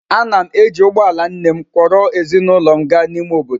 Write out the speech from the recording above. Ana m eji ụgbọ ala nne m kwọro ezinụlọ m gaa n’ime obodo.